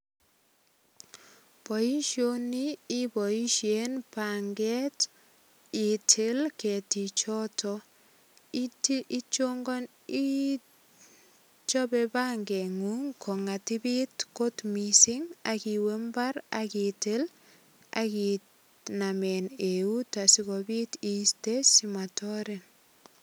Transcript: Boisioni iboisien banget itil ketichoto. Itil, ichope bangengung kongatipit kot mising ak iwe mbar ak itil ak iname eut asigopit iiste simatorin.